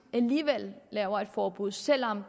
laver et forbud selv om